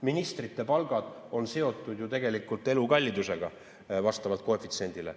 Ministrite palgad on seotud ju tegelikult elukallidusega vastavalt koefitsiendile.